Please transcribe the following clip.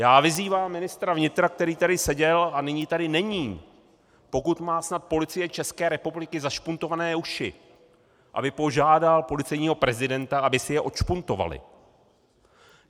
Já vyzývám ministra vnitra, který tady seděl a nyní tady není, pokud má snad Policie České republiky zašpuntované uši, aby požádal policejního prezidenta, aby si je odšpuntovali.